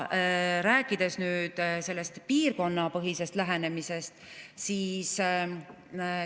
Aga nüüd piirkonnapõhisest lähenemisest.